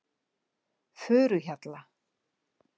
Furuhjalla